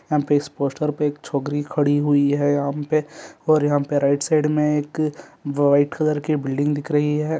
यहाँ पे इस पोस्टर पे एक छोकरी खड़ी हुई हैं यहाँ पे और यहाँ पे राइट साइड में एक वाइट कलर की बिल्डिंग दिख रही हैं।